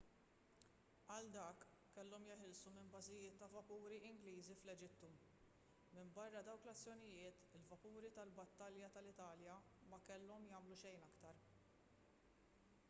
għal dak kellhom jeħilsu minn bażijiet u vapuri ingliżi fl-eġittu minbarra dawk l-azzjonijiet il-vapuri tal-battalja tal-italja ma kellhom jagħmlu xejn aktar